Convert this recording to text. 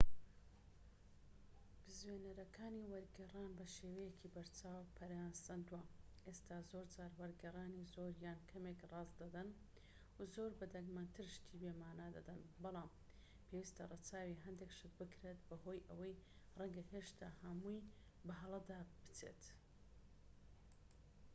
بزوێنەرەکانی وەرگێڕان بەشێوەیەکی بەرچاو پەرەیان سەندووە، و ئێستا زۆرجار وەرگێڕانی زۆر یان کەمێک ڕاست دەدەن و زۆر بە دەگمەنتر شتی بێمانا دەدەن، بەڵام پێویستە ڕەچاوی هەندێک شت بکرێت، بەهۆی ئەوەی ڕەنگە هێشتا هەمووی بە هەڵەدا بچێت